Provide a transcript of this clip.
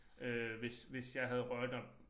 Øh hvis hvis jeg havde røget også